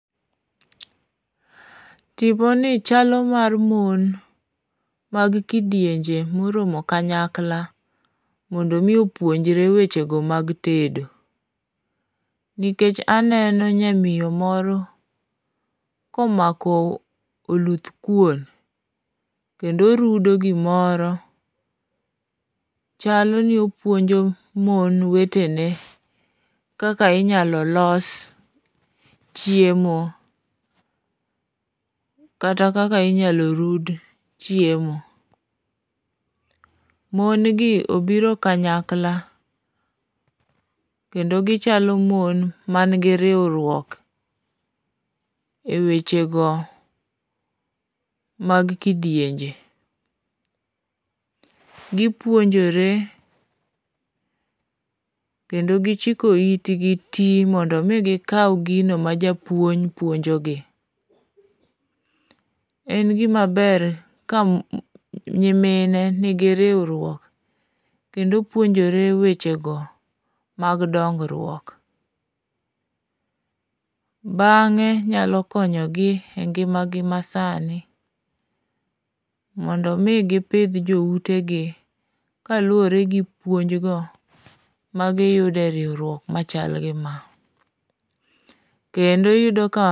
Tiponi chalo mar mon, mag kidienje moromo kanyakla mondo omi opuonjre wechego mag tedo nikech aneno nyamiyo moro komako oluth kuon kendo rudo gimoro ,chalo ni opuonjo mon wetene kaka inyalo los chiemo kata kaka inyalo rud chiemo. Mon gi obiro kanyakla kendo gichalo mon manigi riwruok e wechego mag kidienje, gipuonjore kendo gichiko itgi ti mondo omi gikaw gino ma japuonj puojnogi. En gimaber ke nyimine nigi riwruok, kendo puonjore wechego mag dongruok, bang'e nyalo konyogi e ngimagi masani, mondo omi gipidh joutegi kaluwore gi puonjgo magiyudo e riwruok machal gima, kendo iyudo ka.